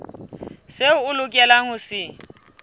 seo a lokelang ho se